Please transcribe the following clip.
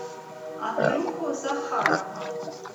андрюху захарова